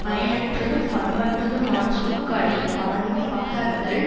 பயனற்றதும் பண்பற்றதுமான சொற்களை பலர்முன் பகர்தல்